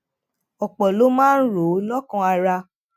òpò ló máa ń rò ó lókàn ara